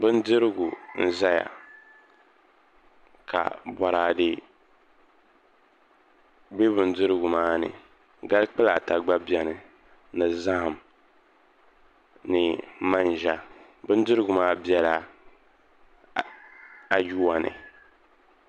Bindirigu n ʒɛya ka boraadɛ bɛ bindirigu maa ni gali kpulaa ta gba bɛni ni zaham ni manʒa bindirigu maa bɛla ayuwa ni